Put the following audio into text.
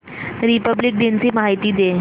Republic दिन ची माहिती दे